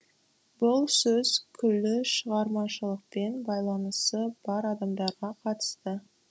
бұл сөз күллі шығармашылықпен байланысы бар адамдарға қатысты